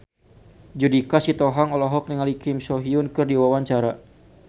Judika Sitohang olohok ningali Kim So Hyun keur diwawancara